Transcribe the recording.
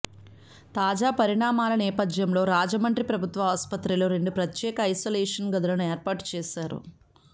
తాజా పరిణామాల నేపథ్యంలో రాజమండ్రి ప్రభుత్వ ఆస్పత్రిలో రెండు ప్రత్యేక ఐసోలేషన్ గదులను ఏర్పాటు చేశారు